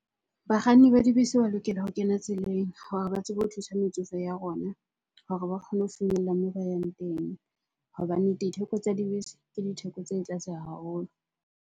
Bakganni ba dibese ba lokela ho kena tseleng hore ba tsebe ho thusa metsofe ya rona hore ba kgone ho finyella moo ba yang teng. Hobane ditheko tsa dibese ke ditheko tse tlase haholo.